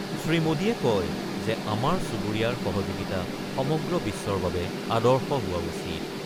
শ্ৰীমোদীয়ে কয় যে আমাৰ চুবুৰীয়াৰ সহযোগিতা সমগ্ৰ বিশ্বৰ বাবে আদৰ্শ হোৱা উচিত।